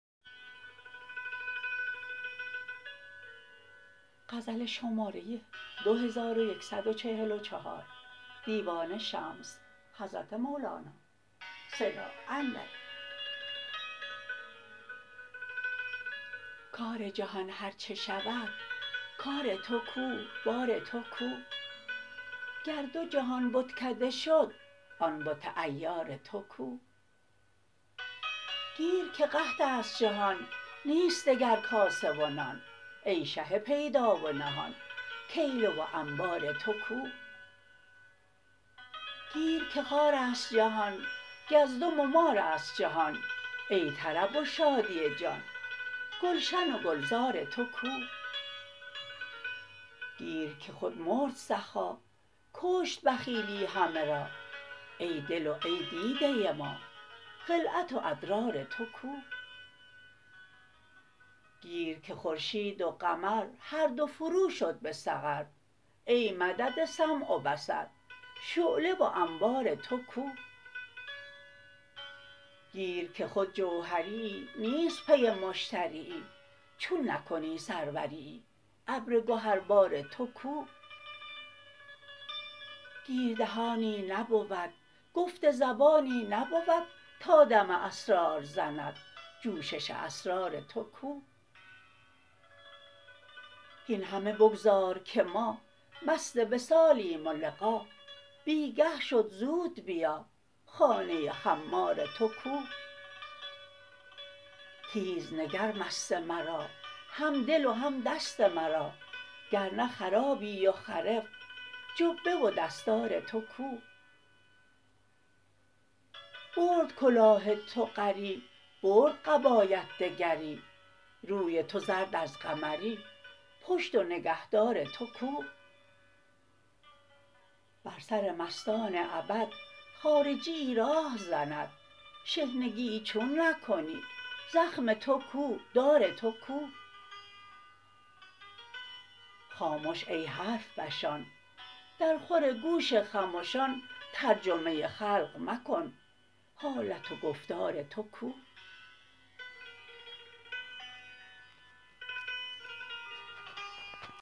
کار جهان هر چه شود کار تو کو بار تو کو گر دو جهان بتکده شد آن بت عیار تو کو گیر که قحط است جهان نیست دگر کاسه و نان ای شه پیدا و نهان کیله و انبار تو کو گیر که خار است جهان گزدم و مار است جهان ای طرب و شادی جان گلشن و گلزار تو کو گیر که خود مرد سخا کشت بخیلی همه را ای دل و ای دیده ما خلعت و ادرار تو کو گیر که خورشید و قمر هر دو فروشد به سقر ای مدد سمع و بصر شعله و انوار تو کو گیر که خود جوهریی نیست پی مشتریی چون نکنی سروریی ابر گهربار تو کو گیر دهانی نبود گفت زبانی نبود تا دم اسرار زند جوشش اسرار تو کو هین همه بگذار که ما مست وصالیم و لقا بی گه شد زود بیا خانه خمار تو کو تیز نگر مست مرا همدل و هم دست مرا گر نه خرابی و خرف جبه و دستار تو کو برد کلاه تو غری برد قبایت دگری روی تو زرد از قمری پشت و نگهدار تو کو بر سر مستان ابد خارجیی راه زند شحنگیی چون نکنی زخم تو کو دار تو کو خامش ای حرف فشان درخور گوش خمشان ترجمه خلق مکن حالت و گفتار تو کو